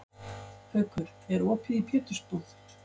Haukur, er opið í Pétursbúð?